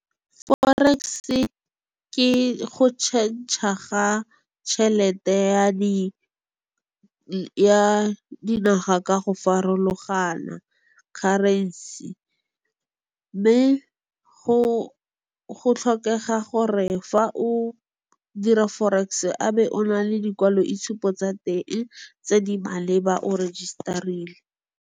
Forex-e ke go change-a ga tšhelete ya di naga ka go farologana currency-e. Mme go tlhokega gore fa o dira Forex-e a be o na le dikwaloitshupo tsa teng tse di maleba o register-rile.